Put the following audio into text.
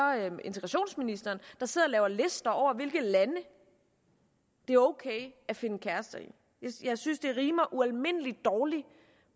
integrationsministeren der sidder og laver lister over hvilke lande det er ok at finde kærester i jeg synes det rimer ualmindelig dårligt